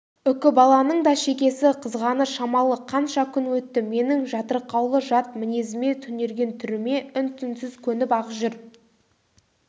үкібаланың да шекесі қызғаны шамалы қанша күн өтті менің жатырқаулы жат мінезіме түнерген түріме үн-түнсіз көніп-ақ жүр